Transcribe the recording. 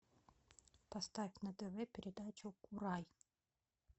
поставь на тв передачу курай